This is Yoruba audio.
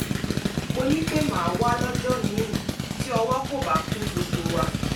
mo ní pé màá wá lọ́jọ́ míì tí ọwọ́ kò bá kún gbogbo wa